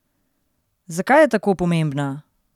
Zakaj je tako pomembna?